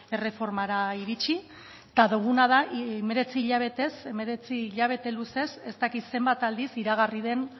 erreformara iritsi eta duguna da hemeretzi hilabetez hemeretzi hilabete luzez ez dakit zenbat aldiz iragarri den